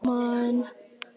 Mamma reynir að róa hann.